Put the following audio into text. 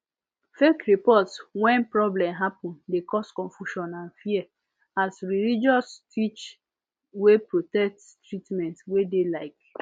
fake report when problem happen de cause confusion and fear as religious teach wey protect treatment wey de like